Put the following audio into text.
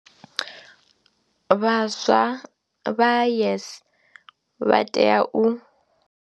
Vhaswa vha YES vha tea u.